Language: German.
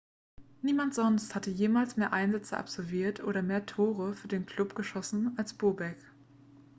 niemand sonst hat jemals mehr einsätze absolviert oder mehr tore für den club geschossen als bobek